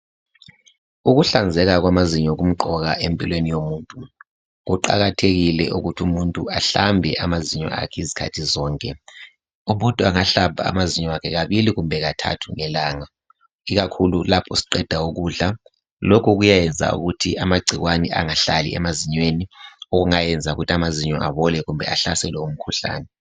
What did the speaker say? ukuhlanzeka kwamazinyo kumqoka empilweni yomuntu kuqakathekile ukuthi umuntu ahlambe amazinyo akhe izikhathi zonke umuntu angahlamba amazinyo akhe kabili kumbe kathathu ngelanga ikakhulu lapho siqeda ukudla lokhu kuyayenza ukuthi amagcikwane angahlali emazinyweni okungayenza ukuthi amazinyo abole kumbe ahlaselwe ngumkhuhlane